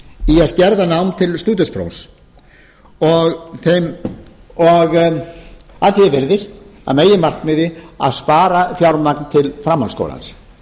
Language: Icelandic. skerða nám til stúdentsprófs og að því er virðist meginmarkmið að spara fjármagn til framhaldsskólans